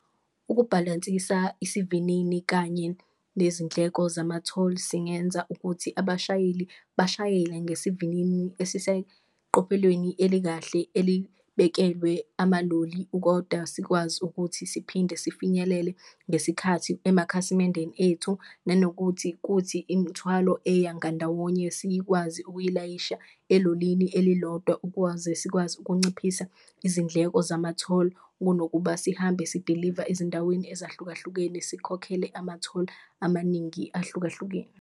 Ukubhalansisa isivinini kanye nezindleko zama-toll singenza ukuthi abashayeli bashayele ngesivinini esiseqophelweni elikahle elibekelwe amaloli, koda sikwazi ukuthi siphinde sifinyelele ngesikhathi emakhasimendeni ethu. Nanokuthi kuthi imithwalo eya ngandawonye sikwazi ukuyilayisha elolini elilodwa ukwaze sikwazi ukunciphisa izindleko zama-toll, kunokuba sihambe sidiliva ezindaweni ezahlukahlukene sikhokhele ama-toll amaningi ahlukahlukene.